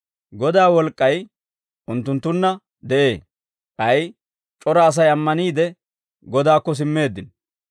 Godaa wolk'k'ay unttunttunna de'ee; k'ay c'ora Asay ammaniide, Godaakko simmeeddino.